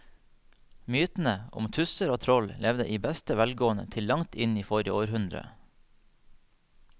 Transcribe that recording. Mytene om tusser og troll levde i beste velgående til langt inn i forrige århundre.